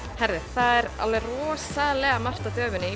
það er rosalega margt á döfinni